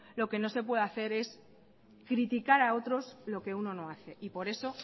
lo que no se puede hacer es criticar a otros lo que uno no hace por eso